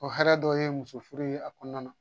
O hɛrɛ dɔ ye muso furu ye a kɔnɔna na